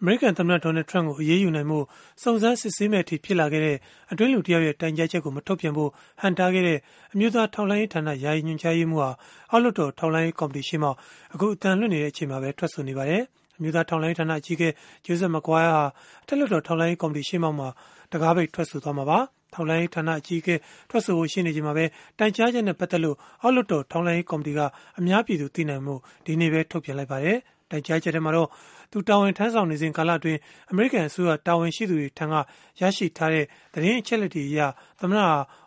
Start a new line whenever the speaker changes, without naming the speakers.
အမေရိကန်သမ္မတ Donald Trump ကို အရေးယူနိုင်ဖို့ စုံစမ်းစစ်ဆေးမယ့်အထိ ဖြစ်လာခဲ့တဲ့ အတွင်းလူတယောက်ရဲ့ တိုင်ကြားချက်ကို မထုတ်ပြန်ဖို့ ဟန့်တားခဲ့တဲ့ အမျိုးသား ထောက်လှမ်းရေးဌာန ယာယီညွှန်ကြားရေးမှူးဟာ အောက်လွှတ်တော် ထောက်လှမ်းရေး ကော်မတီရှေ့မှောက် ဒီကနေ့ ထွက်ဆိုပါတယ်။ အမျိုးသား ထောက်လှမ်းရေးဌာန အကြီးအကဲ Joseph Maguire ဟာ အထက်လွှတ်တော် ထောက်လှမ်းရေး ကော်မတီဝင်တွေ ရှေ့မှောက်မှာတော့ တံခါးပိတ် ထွက်ဆိုသွားမှာပါ။ အမျိုးသား ထောက်လှမ်းရေးဌာန အကြီးအကဲ လွှတ်တော်မှာ ထွက်ဆိုဖို့ ရှိနေချိန်မှာပဲ တိုင်ကြားချက်နဲ့ ပတ်သက်လို့ အောက်လွှတ်တော် ထောက်လှမ်းရေး ကော်မတီက အများပြည်သူ သိနိုင်ဖို့ ထုတ်ပြန်လိုက်ပါတယ်။ တိုင်ကြားချက်ထဲမှာတော့ တာဝန်ထမ်းဆောင်နေစဉ် ကာလအတွင်း အမေရိကန် အစိုးရ တာဝန်ရှိသူတွေထံက ရရှိထားတဲ့ သတင်းအချက်အလက်တွေအရ သမ္မတ